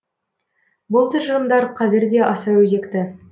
бұл тұжырымдар қазір де аса өзекті